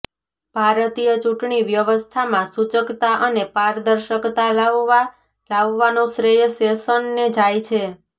ભારતીય ચૂંટણી વ્યવસ્થામાં સૂચકતા અને પારદર્શકતા લાવવા લાવવાનો શ્રેય શેષનને જાય છે